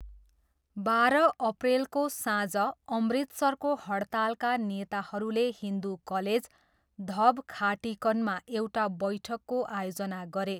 बाह्र अप्रेलको साँझ अमृतसरको हड्तालका नेताहरूले हिन्दु कलेज, धब खाटिकनमा एउटा बैठकको आयोजना गरे।